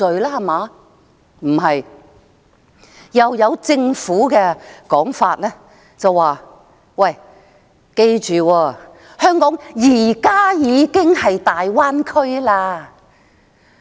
不是，政府另一的說法是："記住，香港現時已經是大灣區了。